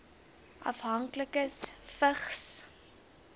afhanklikes vigs